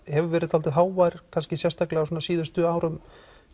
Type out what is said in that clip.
hefur verið dálítið hávær sérstaklega á síðustu árum